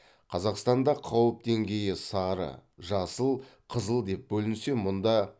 қазақстанда қауіп деңгейі сары жасыл қызыл деп бөлінсе мұнда